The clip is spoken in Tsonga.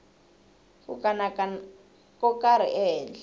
ku kanakana ko karhi ehenhla